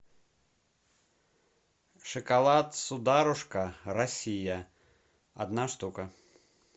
шоколад сударушка россия одна штука